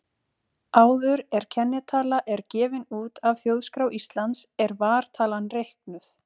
Áður er kennitala er gefin út af Þjóðskrá Íslands er vartalan reiknuð.